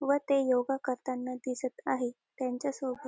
व ते योगा करताना दिसत आहेत त्यांच्यासोबत--